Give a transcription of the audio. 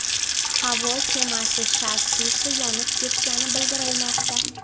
Havo kemasi shassisi yonib ketgani bildirilmoqda.